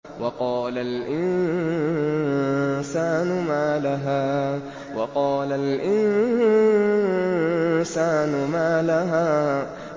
وَقَالَ الْإِنسَانُ مَا لَهَا